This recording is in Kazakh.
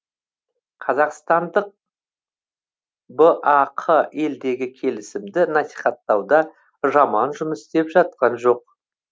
қазақстандық бақ елдегі келісімді насихаттауда жаман жұмыс істеп жатқан жоқ